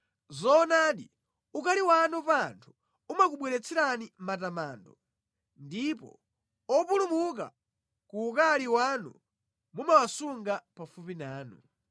Zoonadi, ukali wanu pa anthu umakubweretserani matamando ndipo opulumuka ku ukali wanu mumawasunga pafupi nanu.